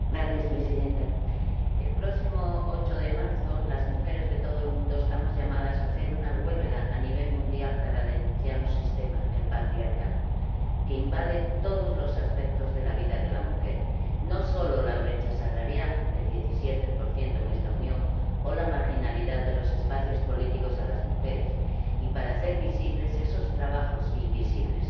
Señora presidenta, el próximo 8 de marzo las mujeres de todo el mundo estamos llamadas a hacer una huelga a nivel mundial para denunciar un sistema, el patriarcal, que invade todos los aspectos de la vida de la mujer —no solo la brecha salarial del 17 en esta Unión o la marginalidad de los espacios políticos a las mujeres— y para hacer visibles esos trabajos invisibles.